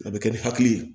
A bɛ kɛ ni hakili ye